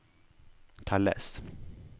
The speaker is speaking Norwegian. telles